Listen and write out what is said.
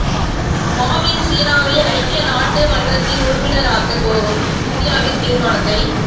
மாவ்வின் சீனாவை ஐக்கிய நாட்டு மன்றத்தின் உறுப்பினராக்கக் கோரும் இந்தியாவின் தீர்மானத்தை